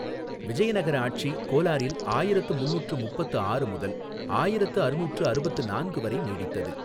விஜயநகர ஆட்சி கோலாரில் ஆயிரத்து முந்நூறு முப்பத்து ஆறு முதல் ஆயிரத்து அறுநூற்று அறுபத்து நான்கு வரை நீடித்தது.